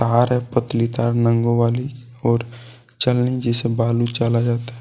RF पतली तार नंगों वाली और छलनी जैसे